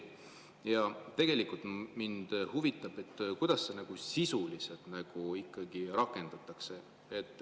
Ja tegelikult mind huvitab, kuidas seda sisuliselt ikkagi rakendatakse.